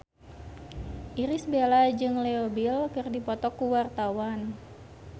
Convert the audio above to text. Irish Bella jeung Leo Bill keur dipoto ku wartawan